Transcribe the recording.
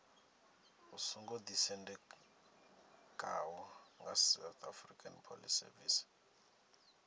u songo ḓisendekaho nga saps